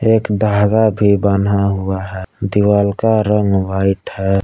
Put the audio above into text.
एक धागा भी बन्हा हुआ है दीवाल का रंग व्हाइट है।